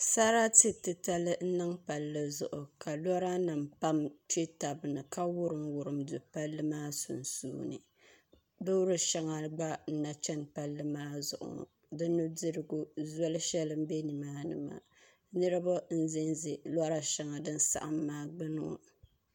Sarati titali n niŋ palli zuɣu ka lora nim pam kpɛ tabi ni ka wurim wurim do palli maa sunsuuni loori shɛŋa gba n na chɛni palli maa zuɣu ŋɔ di nudirigu zoli shɛli n do nimaani maa niraba n ʒɛnʒɛ lora shɛli din saɣam maa gbuni maa